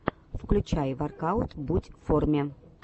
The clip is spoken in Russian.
включай воркаут будь в форме